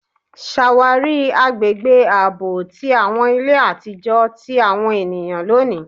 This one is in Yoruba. Ṣawari agbegbe aabọ ti awọn ile atijọ ti awọn eniyan loni